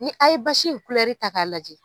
Ni a ye basi in ta k'a lajɛ.